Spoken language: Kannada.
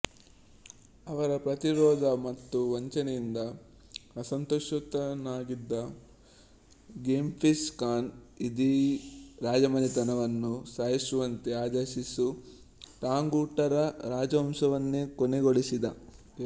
ಅವರ ಪ್ರತಿರೋಧ ಮತ್ತು ವಂಚನೆಯಿಂದ ಅಸಂತೋಷಿತನಾಗಿದ್ದ ಗೆಂಘೀಸ್ ಖಾನ್ ಇಡೀ ರಾಜಮನೆತನವನ್ನು ಸಾಯಿಸುವಂತೆ ಆದೇಶಿಸಿ ಟಾಂಗೂಟರ ರಾಜವಂಶವನ್ನೇ ಕೊನೆಗೊಳಿಸಿದ